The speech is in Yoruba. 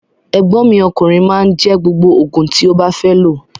Egbon mi okunrin ma n je gbogbo ti o ba fe lo.